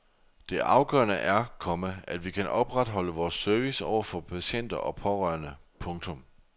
Det afgørende er, komma at vi kan opretholde vores service over for patienter og pårørende. punktum